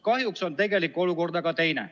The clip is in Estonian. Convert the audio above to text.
Kahjuks on tegelik olukord teine.